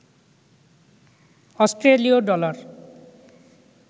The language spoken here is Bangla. অস্ট্রেলীয় ডলার